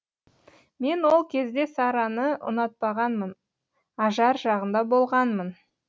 мен ол кезде сарраны ұнатпағанмын ажар жағында болғанмын